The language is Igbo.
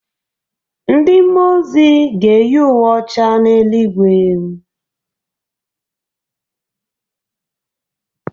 Ndị mmụọ ozi ga-eyi uwe ọcha n’eluigwe